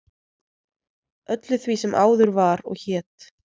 öllu því sem áður var og hét